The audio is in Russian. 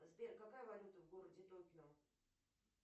сбер какая валюта в городе токио